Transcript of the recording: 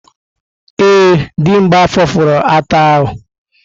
Ee, Dimgba fopụrụ ata ahu.